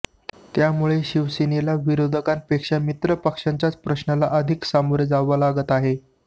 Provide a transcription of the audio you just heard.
त्यामुळे शिवसेनेला विरोधकांपेक्षा मित्र पक्षांच्याच प्रश्नाला अधिक सामोरे जावे लागत आहे